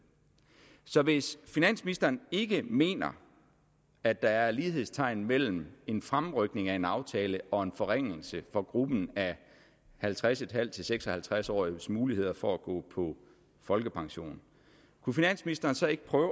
så hvis finansministeren ikke mener at der er lighedstegn mellem en fremrykning af en aftale og en forringelse for gruppen af halvtreds en halv seks og halvtreds årige s muligheder for at gå på folkepension kunne finansministeren så ikke prøve